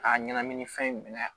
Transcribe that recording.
A ɲɛnamini fɛn minɛ